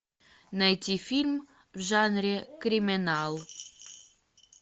найти фильм в жанре криминал